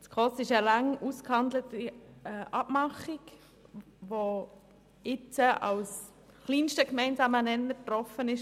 Die SKOS-Richtlinien sind eine lange ausgehandelte Abmachung, die als kleinster gemeinsamer Nenner getroffen worden ist.